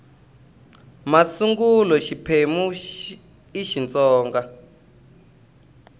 masungulo xiphemu xa ii xitsonga